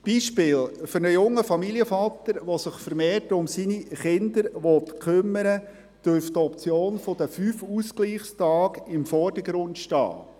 Ein Beispiel: Für einen jungen Familienvater, der sich vermehrt um seine Kinder kümmern möchte, dürfte die Option der 5 Ausgleichstage im Vordergrund stehen.